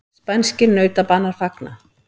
Spænskir nautabanar fagna